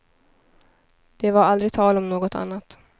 Det var aldrig tal om något annat.